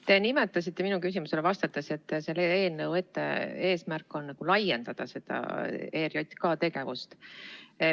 Te nimetasite minu küsimusele vastates, et selle eelnõu eesmärk on nagu laiendada ERJK tegevust.